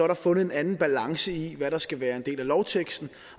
der fundet en anden balance i hvad der skal være en del af lovteksten